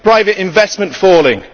private investment falling.